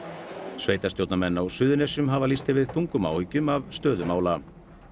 sveitarstjórnarmenn á Suðurnesjum hafa lýst yfir þungum áhyggjum af stöðu mála